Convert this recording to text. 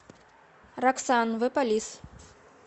роксан зе полис